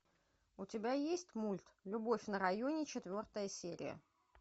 у тебя есть мульт любовь на районе четвертая серия